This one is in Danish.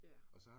Ja